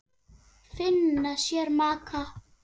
Finna sér maka.